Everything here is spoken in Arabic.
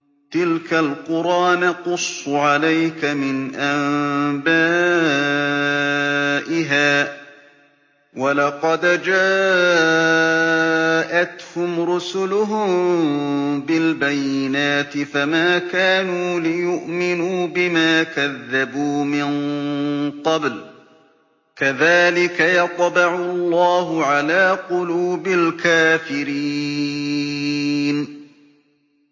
تِلْكَ الْقُرَىٰ نَقُصُّ عَلَيْكَ مِنْ أَنبَائِهَا ۚ وَلَقَدْ جَاءَتْهُمْ رُسُلُهُم بِالْبَيِّنَاتِ فَمَا كَانُوا لِيُؤْمِنُوا بِمَا كَذَّبُوا مِن قَبْلُ ۚ كَذَٰلِكَ يَطْبَعُ اللَّهُ عَلَىٰ قُلُوبِ الْكَافِرِينَ